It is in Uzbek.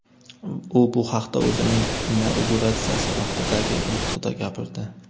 U bu haqda o‘zining inauguratsiyasi vaqtidagi nutqida gapirdi .